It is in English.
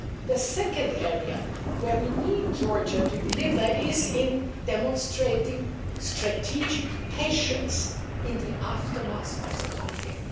The second area where we need Georgia to deliver is in demonstrating strategic patience' in the aftermath of the conflict.